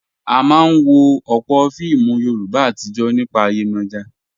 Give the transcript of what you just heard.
A máa ń wo ọ̀pọ̀ fíìmù Yorùbá àtijọ́ nípa Yemoja.